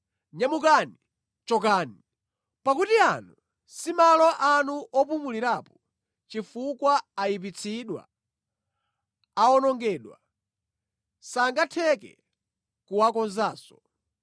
Nyamukani, chokani! Pakuti ano si malo anu opumulirapo, chifukwa ayipitsidwa, awonongedwa, sangatheke kuwakonzanso.